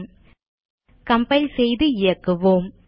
001049 001048 compile செய்து இயக்குவோம்